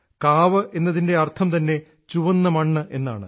കാവ് എന്നതിൻറെ അർത്ഥംതന്നെ ചുവന്ന മണ്ണ് എന്നാണ്